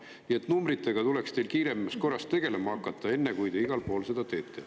Nii et numbritega tuleks teil kiiremas korras tegelema hakata, enne kui te igal pool seda tegema hakkate.